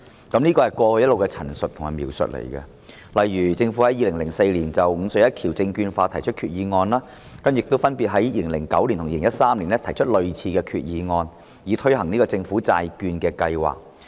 這是過去一直的陳述及描述，例如政府於2004年就"五隧一橋"證券化提出決議案，亦分別於2009年及2013年提出類似的決議案，以推行政府債券計劃。